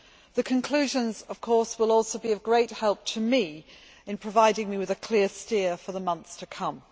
The conclusions, of course, will also be of great help to me, in providing me with a clear steer for the months to come.